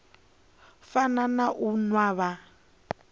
fana na u nwa vha